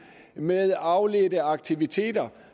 med afledte aktiviteter